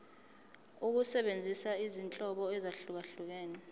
ukusebenzisa izinhlobo ezahlukehlukene